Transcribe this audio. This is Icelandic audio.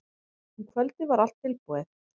Um kvöldið var allt tilbúið.